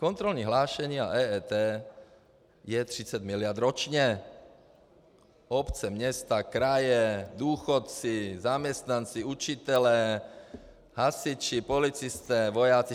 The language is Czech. Kontrolní hlášení a EET je 30 miliard ročně: obce, města, kraje, důchodci, zaměstnanci, učitelé, hasiči, policisté, vojáci.